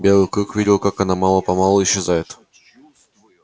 белый клык видел как она мало помалу исчезает